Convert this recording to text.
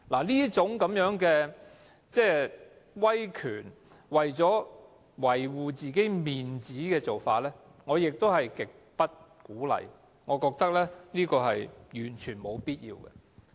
這種威權、為了維護面子的做法，我是極不鼓勵的，我也覺得這是完全沒有必要的。